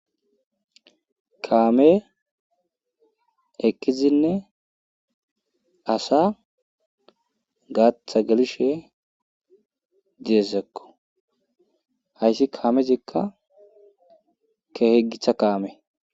kaame ekkizinne asa gaatha gelishe deezekko hayssi kaamezikka keheggitha kaame